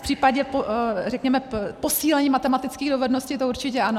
V případě řekněme posílení matematických dovedností to určitě ano.